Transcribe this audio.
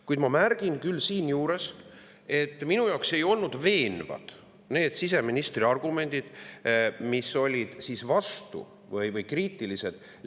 Kuid ma märgin siinjuures, et minu jaoks ei olnud veenvad need siseministri argumendid, mis olid kriitilised Läti Seimi valitud tee suhtes.